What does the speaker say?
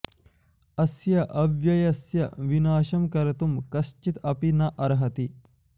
अस्य अव्ययस्य विनाशं कर्तुं कश्चित् अपि न अर्हति